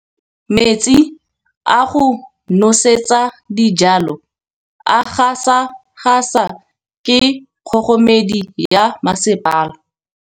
Metsi a go nosetsa dijalo a gasa gasa ke kgogomedi ya masepala.